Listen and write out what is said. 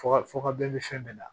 Fɔ ka fɔ ka bɛn ni fɛn bɛɛ la